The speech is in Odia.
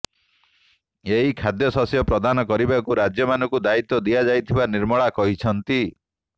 ଏହି ଖାଦ୍ୟ ଶସ୍ୟ ପ୍ରଦାନ କରିବାକୁ ରାଜ୍ୟମାନଙ୍କୁ ଦାୟିତ୍ୱ ଦିଆଯାଇଥିବା ନିର୍ମଳା କହିଛନ୍ତି